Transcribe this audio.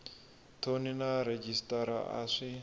thoni na rhejisitara a swi